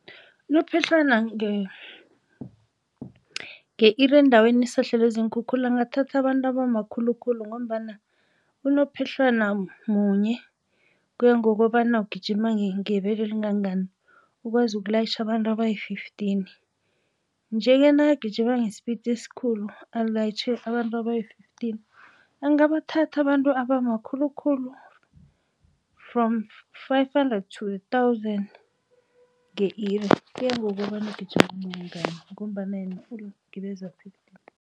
Unophehlwana nge-iri endaweni esahlelwe ziinkhukhula angathatha abantu abamakhulukhulu ngombana unophehlwana munye kuya ngokobana ugijima ngebelo elingangani ukwazi ukulayitjha abantu abayi-fifteen. Nje-ke nakagijima nge-speed esikhulu alayitjhe abantu abayi-fifteen angabathatha abantu abamakhulukhulu from five hundred to a thousand nge-iri kuyangokobana ugijima kangangani ngombana yena ungibeza